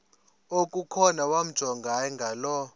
okukhona wamjongay ngaloo